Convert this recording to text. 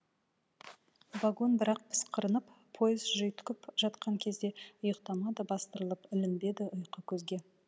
вагон бірақ пысқырынып пойыз жүйткіп жатқан кезде ұйықтамады бастырылып ілінбеді ұйқы көзге